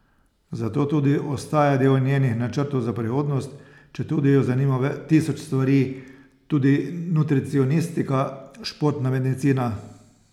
Zato tudi ostaja del njenih načrtov za prihodnost, četudi jo zanima tisoč stvari, tudi nutricionistika, športna medicina ...